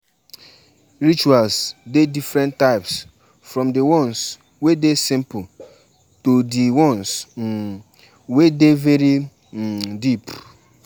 When you dey plan to go with family, e dey okay to let everybody know di plan